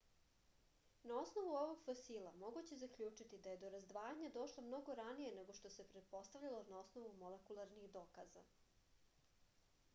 na osnovu ovog fosila moguće je zaključiti da je do razdvajanja došlo mnogo ranije nego što se pretpostavljalo na osnovu molekularnih dokaza